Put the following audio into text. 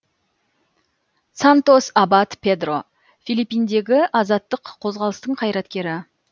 сантос абад педро филиппиндегі азаттық қозғалыстың қайтаркері